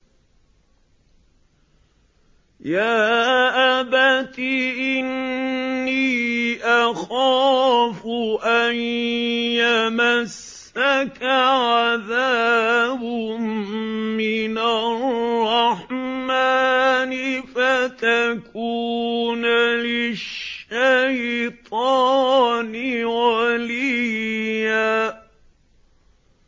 يَا أَبَتِ إِنِّي أَخَافُ أَن يَمَسَّكَ عَذَابٌ مِّنَ الرَّحْمَٰنِ فَتَكُونَ لِلشَّيْطَانِ وَلِيًّا